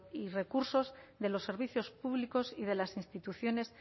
y recursos de los servicios públicos y de las instituciones